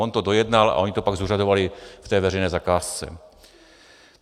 On to dojednal a oni to pak zúřadovali v té veřejné zakázce.